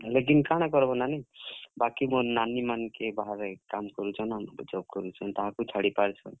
ଲେକିନ୍ କାଣା କର୍ ବ ନାନୀ, ବାକି ମୋର ନାନୀ ମାନଙ୍କେ ବାହାରେ job କରୁଛନ୍, ବାହାରେ କାମ କରୁଛନ୍। ତାହାଙ୍କୁ ଛାଡି ପାରୁଛନ୍।